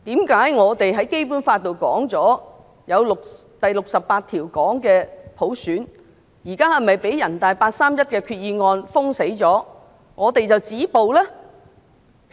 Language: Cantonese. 《基本法》第六十八條訂明有普選，現在是否因為被人大八三一決定完全封殺，我們便要止步呢？